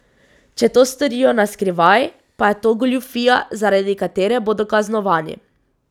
Če to storijo na skrivaj, pa je to goljufija, zaradi katere bodo kaznovani.